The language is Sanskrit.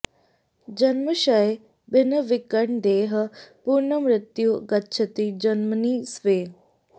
जन्म क्षये भिन्नविकीर्ण देहः पुनर्मृत्युं गच्छति जन्मनि स्वे